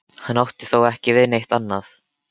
Hann átti þá ekki við neitt annað.